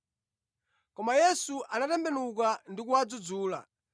Koma Yesu anatembenuka ndi kuwadzudzula,